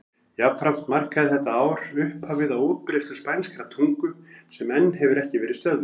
Jafnframt markaði þetta ár upphafið á útbreiðslu spænskrar tungu sem enn hefur ekki verið stöðvuð.